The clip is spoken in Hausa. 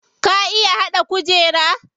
Ka iya haɗa kujera?